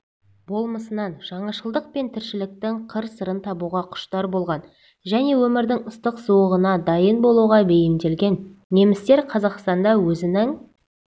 болмысынан жаңашылдық пен тіршіліктің қыр-сырын табуға құштар болған және өмірдің ыстық-суығына дайын болуға бейімделген немістер қазақстанда да өзінің